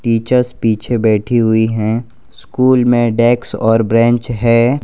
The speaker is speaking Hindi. टीचर्स पीछे बैठी हुई है। स्कूल में डेस्क और बेंच है।